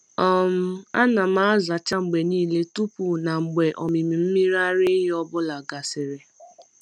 um Ana m azacha mgbe niile tupu na mgbe ọmịmị mmiri ara ehi ọ bụla gasịrị.